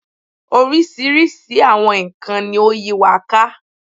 Oríṣiríṣi àwọn nkàn-an ni ó yí wa ká